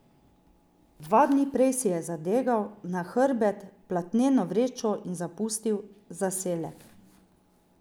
Dva dni prej si je zadegal na hrbet platneno vrečo in zapustil zaselek.